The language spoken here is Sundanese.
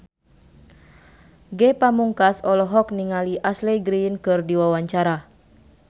Ge Pamungkas olohok ningali Ashley Greene keur diwawancara